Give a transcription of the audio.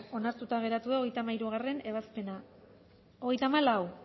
onartuta geratu da hogeita hamairugarrena ebazpena hogeita hamalau